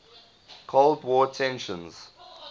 cold war tensions